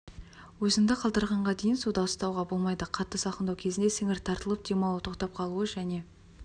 өзіңді қалдырағанға дейін суда ұстауға болмайды қатты салқындау кезінде сіңір тартылып демалу тоқтап қалуы және